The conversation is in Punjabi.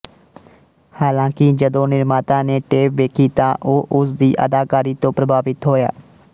ਹਾਲਾਂਕਿ ਜਦੋਂ ਨਿਰਮਾਤਾ ਨੇ ਟੇਪ ਵੇਖੀ ਤਾਂ ਉਹ ਉਸ ਦੀ ਅਦਾਕਾਰੀ ਤੋਂ ਪ੍ਰਭਾਵਿਤ ਹੋਇਆ